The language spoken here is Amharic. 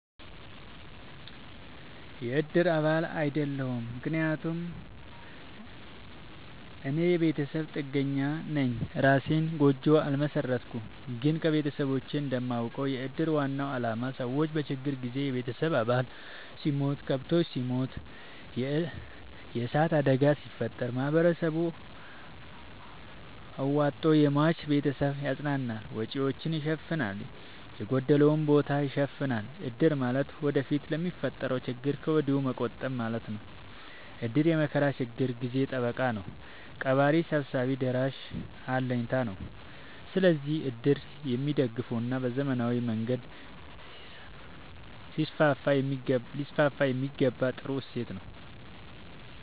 የእድር አባል አይደለሁም። ምክንያቱም እኔ የቤተሰብ ጥገኛነኝ የእራሴን ጎጆ አልመሠረትኩም። ግን ከቤተሰቦቼ እንደማውቀው። የእድር ዋናው አላማ ሰዎች በችግር ጊዜ የቤተሰብ አባል ሲሞት፤ ከብቶች ሲሞቱ፤ የዕሳት አደጋ ሲፈጠር፤ ማህበረሰቡ አዋቶ የሟችን ቤተሰብ ያፅናናል፤ ወጪወቹን ይሸፋናል፤ የጎደለውን ቦታ ይሸፋናል። እድር ማለት ወደፊት ለሚፈጠረው ችግር ከወዲሁ መቆጠብ ማለት ነው። እድር የመከራ የችግር ጊዜ ጠበቃ ነው። ቀባሪ ሰብሳቢ ደራሽ አለኝታ ነው። ስለዚህ እድር የሚደገፋና በዘመናዊ መንገድ ሊስስፋየሚገባው ጥሩ እሴት ነው።